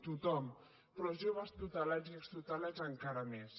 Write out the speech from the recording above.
tothom però els joves tutelats i extutelats encara més